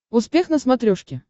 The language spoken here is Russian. успех на смотрешке